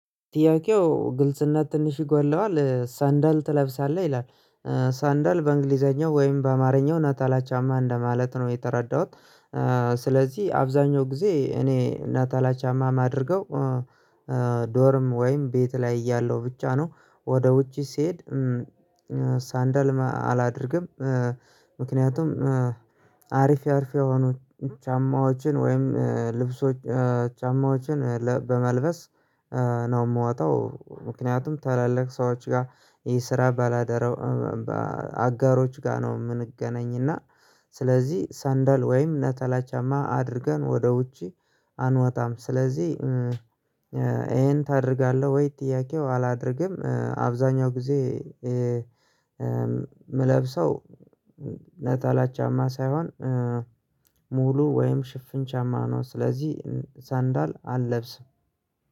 ጥያቄው ግልጽነት ትንሽ ይጎድለዋል ሰንደል ትለብሳለህ ይላል? ሰንደል በእንግሊዘኛው ወይም በአማርኛው ነጠላ ጫማ እንደማለት ነው የተረዳሁት። ስለዚህ አብዛኛው ጊዜ እኔ ነጠላ ጫማ አድርገው። ዶርም ወይም ቤት ላይ እያለው ብቻ ነው ወደ ውጪ ሲሄድ። ሳንደልም አላደርግም። ምክንያቱም አሪፍ ያሪፍ የሆኑት ጫማዎችን ወይም ልብሶች ጫማዎችን በመልበስ ነው የምወጣው። ምክንያቱም ታላላቅ ሰዎች ጋር ይሄን ስራ ባላደረው። አጋሮች ጋር ነው የምንገናኝ እና። ስለዚህ ሳንደል ወይም ነጠላ ጫማ አድርገን ወደ ውጪ አንወጣም። ስለዚህ ይሄን ታደርጋለህ ወይ? ጥያቄው አላደርግም አብዛኛውን ጊዜ እምለብሰው ነጠላ ጫማ ሳይሆን። ሙሉ ወይም ሽፍን ጫማ ነው ስለዚህ ሳንዳል አልለብስም።